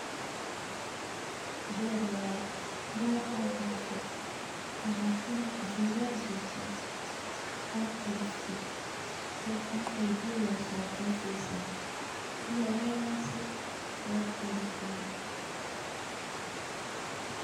Beer waye beer oo bahdee oo Lakin jilaal jogto oo khaliftee, beerta marka aay biya weyso way khalifeysa ,biya ayay waysee way khalifeen .